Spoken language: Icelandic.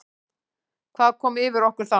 Hvað kom yfir okkur þá?